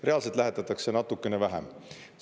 Reaalselt lähetatakse natukene vähem.